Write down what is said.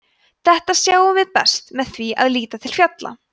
þetta sjáum við best með því að líta til fjalla